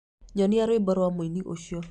Nyonia rwĩmbo rwa mũini ũcio.